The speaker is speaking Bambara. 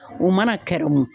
O mana kɛrɛmu